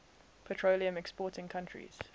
petroleum exporting countries